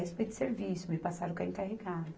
A respeito de serviço, me passaram com a encarregada